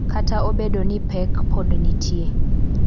Kata obedo ni pek pod nitie.